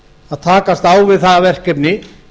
að takast á við það verkefni